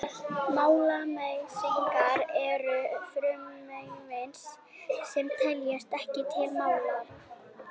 málmleysingjar eru frumefni sem teljast ekki til málma